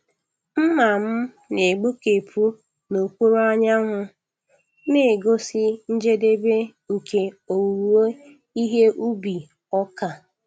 Mma m na-egbukepụ n'okpuru anyanwụ, na-egosi njedebe nke owuwe ihe ubi ọka.